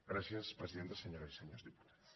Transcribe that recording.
gràcies presidenta senyores i senyors diputats